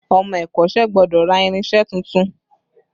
Ọmọ ẹ̀kọ́sẹ́ gbọ́dọ̀ ra irinse tuntun